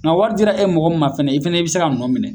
Nka wari dira e mɔgɔ ma fɛnɛ, i fɛnɛ, i bi se ka mɔgɔ minɛ.